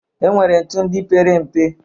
E nwere ntu ndị pere mpe.